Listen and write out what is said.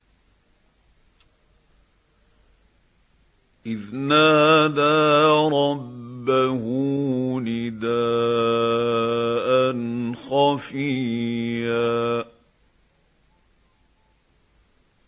إِذْ نَادَىٰ رَبَّهُ نِدَاءً خَفِيًّا